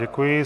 Děkuji.